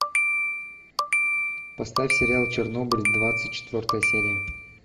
поставь сериал чернобыль двадцать четвертая серия